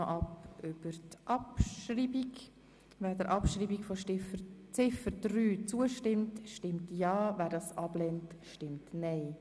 Wer die Abschreibung von Ziffer 3 annimmt, stimmt ja, wer das ablehnt, stimmt nein.